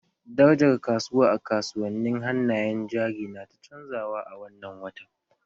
Darajar kasuwa a kasuwannin hannayen jari na ta canzawa a wannan watan